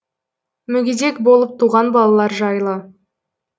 мүгедек болып туған балалар жайлы